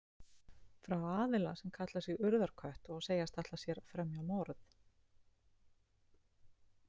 Frá aðila sem kallar sig Urðarkött og segjast ætla sér að fremja morð.